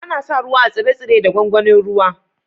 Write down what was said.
Ana sa ruwa a tsire-tsire da gwangwanin ruwa.